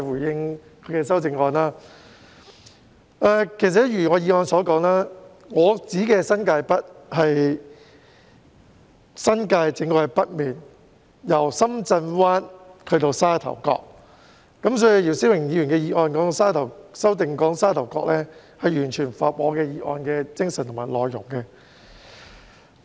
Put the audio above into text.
正如我在原議案中所說，我說的新界北是指新界正北面，由深圳灣至沙頭角，所以姚思榮議員的修正案提到沙頭角，與我的議案的精神和內容完全相符。